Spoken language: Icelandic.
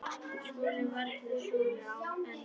SKÚLI: Varla súrari en áður.